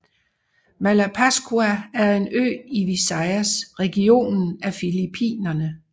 Malapascua er en ø i Visayas regionen af Filippinerne